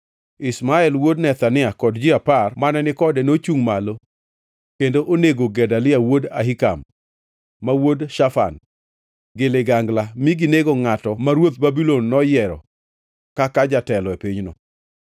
Ishmael wuod Nethania kod ji apar mane ni kode nochungʼ malo kendo onego Gedalia wuod Ahikam, ma wuod Shafan, gi ligangla, ma ginego ngʼatno ma ruodh Babulon noyiero kaka jatelo e pinyno.